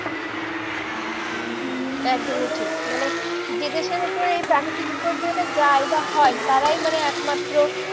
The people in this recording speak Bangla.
একদমই ঠিক মানে যে দেশের ওপরে এই প্রাকৃতিক বিপর্যয়টা যায় বা হয় তারাই মানে একমাত্র